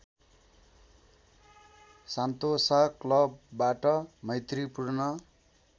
Sentosa क्लबबाट मैत्रीपूर्ण